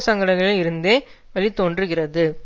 சங்கடங்களில் இருந்து வெளித்தோன்றுகிறது